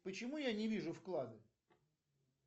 почему я не вижу вклады